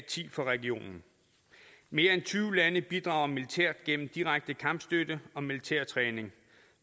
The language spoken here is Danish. ti fra regionen mere end tyve lande bidrager militært gennem direkte kampstøtte og militærtræning